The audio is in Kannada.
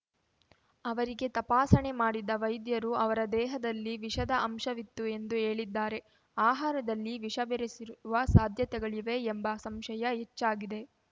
ಅವರಿಗೆ ತಪಾಸಣೆ ಮಾಡಿದ ವೈದ್ಯರು ಅವರ ದೇಹದಲ್ಲಿ ವಿಷದ ಅಂಶವಿತ್ತು ಎಂದು ಹೇಳಿದ್ದಾರೆ ಆಹಾರದಲ್ಲಿ ವಿಷಬೆರೆಸಿರುವ ಸಾಧ್ಯತೆಗಳಿವೆ ಎಂಬ ಸಂಶಯ ಹೆಚ್ಚಾಗಿದೆ